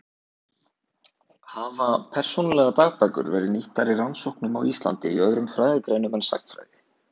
Hafa persónulegar dagbækur verið nýttar í rannsóknum á Íslandi í öðrum fræðigreinum en sagnfræði?